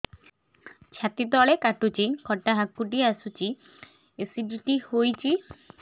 ଛାତି ତଳେ କାଟୁଚି ଖଟା ହାକୁଟି ଆସୁଚି ଏସିଡିଟି ହେଇଚି